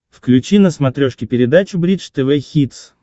включи на смотрешке передачу бридж тв хитс